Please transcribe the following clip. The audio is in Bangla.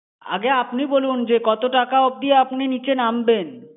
আগে আপনি বলুন, যে কত টাকা অবধি আপনি নিচে নামবেন।